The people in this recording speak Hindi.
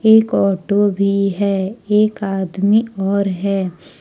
एक ऑटो भी है एक आदमी और है।